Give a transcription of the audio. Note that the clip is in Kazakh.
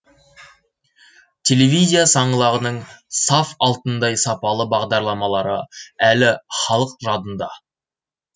телевизия саңлағының саф алтындай сапалы бағдарламалары әлі халық жадында